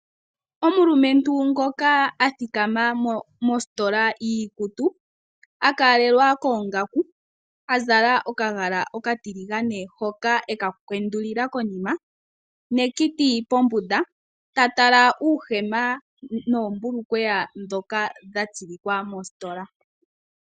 Omulumentu ngoka a thikama mositola yiikutu a kalelwa koongaku, a zala okagala okatiligane hoka e ka kwendulila konima nekiti pombunda ,ta tala uuhema noombulukweya ndhoka dha tsilikwa mositola.